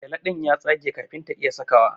gyale din ya yage kafin ta iya sakawa.